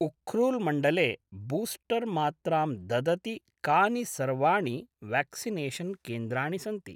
उख्रुल्मण्डले booster मात्रां ददति कानि सर्वाणि व्याक्सिनेषन् केन्द्राणि सन्ति